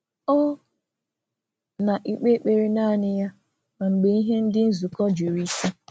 um Ọ na-eme ofufe ya n’ime nzuzo, ọbụna mgbe ihe òtù na-eme biri ka o sie ike um ma ọ bụ mee ka mmadụ mechie onwe ya.